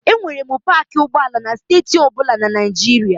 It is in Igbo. E nwere paakị ụgbọala na steeti ọ bụla na Naịjirịa.